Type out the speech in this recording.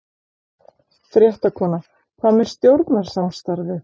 Fréttakona: Hvað með stjórnarsamstarfið?